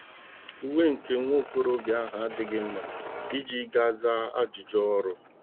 Uwe nke nwa okorobịa ahụ adịghị mma iji gaa zaa ajụjụ ọrụ.